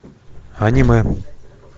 аниме